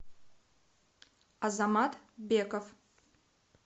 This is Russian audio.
азамат беков